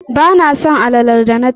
Ba na son alalar da na ci